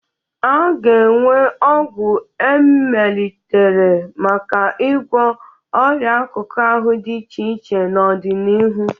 A ga-enwe ọgwụ e melitere maka ịgwọ ọria akụkụ ahụ dị iche iche n'ọdịnihu.